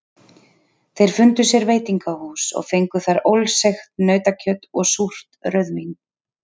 Þeir fundu sér veitingahús og fengu þar ólseigt nautakjöt og súrt rauðvín.